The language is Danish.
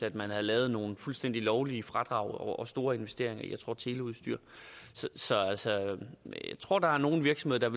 at man havde lavet nogle fuldstændige lovlige fradrag af store investeringer jeg tror teleudstyr så jeg tror der er nogle virksomheder